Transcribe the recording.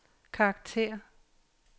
karakter